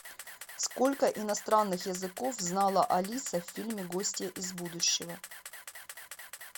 сколько иностранных языков знала алиса в фильме гостья из будущего